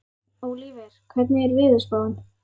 Ólíver, hvernig er veðurspáin?